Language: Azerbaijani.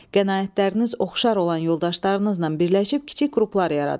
Qənaətləriniz oxşar olan yoldaşlarınızla birləşib kiçik qruplar yaradın.